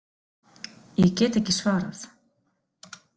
Ég get ekki svarað.